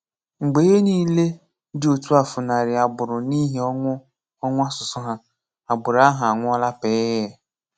Mgbe ihe niile dị otu a fúnàrụ̀ agbụrụ n’ihi ọnwụ̀ ọnwụ̀ asụ̀sụ́ hà, agbụrụ ahụ ànwùọ́lá pị̀ị́ị̀.